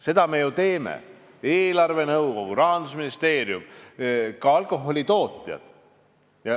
Seda me ju teeme, eelarvenõukogu, Rahandusministeerium, ka alkoholitootjad.